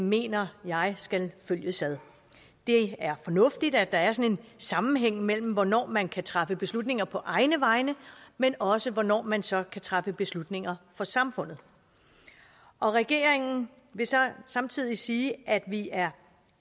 mener jeg skal følges ad det er fornuftigt at der er sådan sammenhæng mellem hvornår man kan træffe beslutninger på egne vegne men også hvornår man så kan træffe beslutninger for samfundet regeringen vil så samtidig sige at vi er